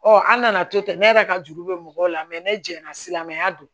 an nana to ten ne yɛrɛ ka juru bɛ mɔgɔw la ne jɛnna silamɛya don